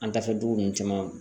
An dafɛ dugu ninnu caman